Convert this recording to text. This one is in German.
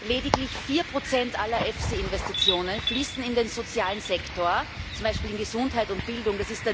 Lediglich vier Prozent aller EFSI Investitionen fließen in den sozialen Sektor, zum Beispiel in Gesundheit und Bildung.